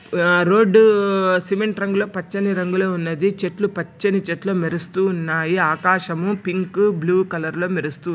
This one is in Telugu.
ఆ రోడ్డు సిమెంట్ రంగులో పచ్చని రంగులో ఉన్నది. చెట్లు పచ్చని చెట్లు మెరుస్తూ ఉన్నాయి. ఆకాశము పింక్ బ్లూ కలర్ లో మెరుస్తూ--